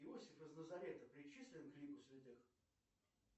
иосиф из назарета причислен к лику святых